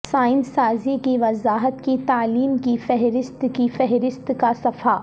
science سازی کی وضاحت کی تعلیم کی فہرست کی فہرست کا صفحہ